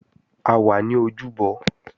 A wà ní ojúbọ